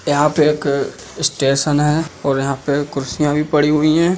यहाँ पे एक स्टेशन है और यहाँ पे कुर्सियां भी पड़ी हुईं हैं।